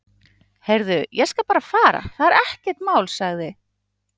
Heyrðu, ég skal bara fara, það er ekkert mál sagði